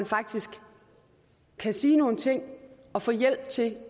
faktisk kan sige nogle ting og få hjælp til